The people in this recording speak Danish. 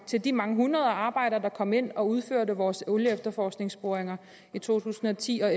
til de mange hundrede arbejdere der kom ind og udførte vores olieefterforskningsboringer i to tusind og ti og